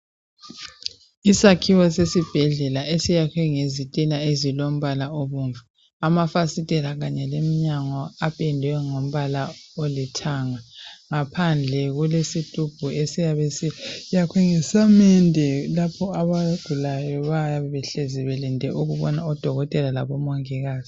Isakhiwo sesibhedlela esakhiwe ngezitina ezilombala obomvu. Amafasitela kanye lomnyango kupendwe ngombala olithanga, ngaphandle kulesitubho esiyabe sakhiwe ngesamende lapho abagulayo bayabe behlezi belinde ukubona odokotela labomongikazi